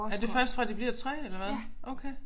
Er det først fra de bliver 3 eller hvad okay